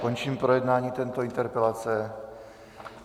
Končím projednání této interpelace.